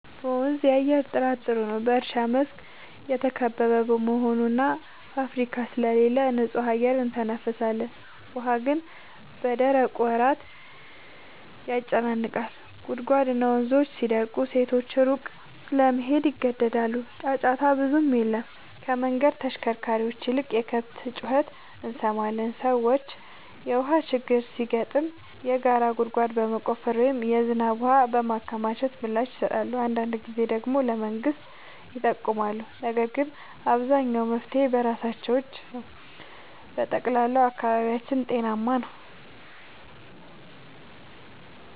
በመንዝ የአየር ጥራት ጥሩ ነው፤ በእርሻ መስክ የተከበበ በመሆኑ እና ፋብሪካ ስለሌለ ንጹህ አየር እንተነፍሳለን። ውሃ ግን በደረቁ ወራት ያጨናንቃል፤ ጉድጓድና ወንዞች ሲደርቁ ሴቶች ሩቅ ለመሄድ ይገደዳሉ። ጫጫታ ብዙም የለም፤ ከመንገድ ተሽከርካሪዎች ይልቅ የከብት ጩኸት እንሰማለን። ሰዎች የውሃ ችግር ሲገጥም የጋራ ጉድጓድ በመቆፈር ወይም የዝናብ ውሃ በማከማቸት ምላሽ ይሰጣሉ። አንዳንድ ጊዜ ደግሞ ለመንግሥት ይጠይቃሉ፤ ነገር ግን አብዛኛው መፍትሔ በራሳቸው እጅ ነው። በጠቅላላው አካባቢያችን ጤናማ ነው።